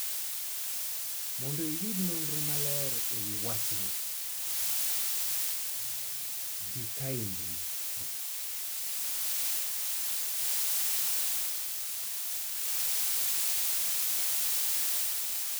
Mondo iyud nonro maler e wi wachni, di kae e mbui